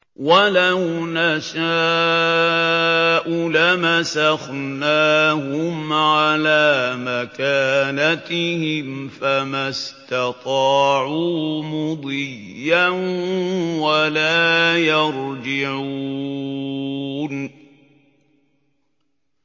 وَلَوْ نَشَاءُ لَمَسَخْنَاهُمْ عَلَىٰ مَكَانَتِهِمْ فَمَا اسْتَطَاعُوا مُضِيًّا وَلَا يَرْجِعُونَ